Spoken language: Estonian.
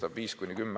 Head kolleegid!